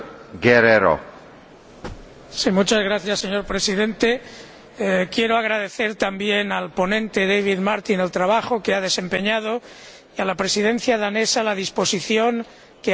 Señor Presidente, quiero agradecer también al ponente, David Martin, el trabajo que ha desempeñado y a la Presidencia danesa la disposición que ha tenido para avanzar a lo largo de este informe.